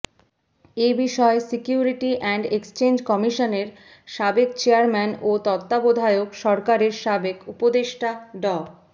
এ বিষয়ে securities and exchange কমিশনের সাবেক চেয়ারম্যান ও তত্ত্বাবধায়ক সরকারের সাবেক উপদেষ্টা ড